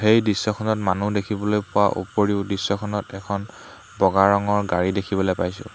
এই দৃশ্যখনত মানুহ দেখিবলৈ পোৱাৰ উপৰিও দৃশ্যখনত এখন বগা ৰঙৰ গাড়ী দেখিবলৈ পাইছোঁ।